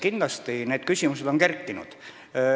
Kindlasti on sellised küsimused kerkinud.